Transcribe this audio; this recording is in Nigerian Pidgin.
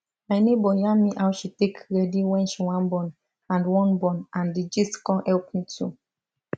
my neighbor yarn me how she take ready wen she wan born and wan born and the gist con help me too